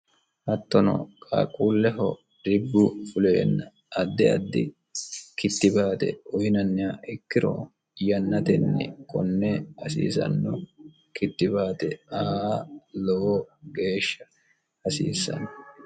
hattono qaaquulleho dibbu fuleenna addi addi kittibaate uyinanniha ikkiro yannatenni konne hasiisanno kittibaate aa lowo geeshsha hasiissanno.